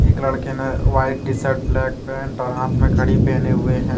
एक लड़के ने white T shirt black pant और हाथ में घड़ी पहने हुए हैं।